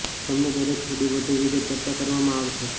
તેમને દરેક થોડી વધુ વિગત ચર્ચા કરવામાં આવશે